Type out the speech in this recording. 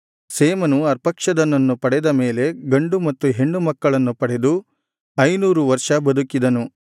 ಶೇಮನು ಅರ್ಪಕ್ಷದನನ್ನು ಪಡೆದ ಮೇಲೆ ಗಂಡು ಮತ್ತು ಹೆಣ್ಣು ಮಕ್ಕಳನ್ನು ಪಡೆದು ಐನೂರು ವರ್ಷ ಬದುಕಿದನು